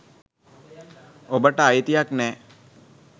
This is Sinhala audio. ඔබට අයිතියක් නෑ.